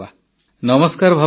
ନମସ୍କାର ଭାବନା ଜୀ